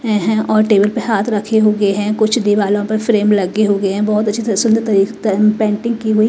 अ हे और टेबल पे हाथ रखे हुए हैं कुछ दिवालों पर फ्रेम लगे हुए हैं बहोत अच्छी तरह से पेंटिंग की हुई--